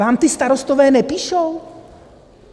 Vám ti starostové nepíšou?